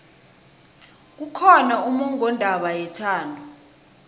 kukhona ummongondaba yethando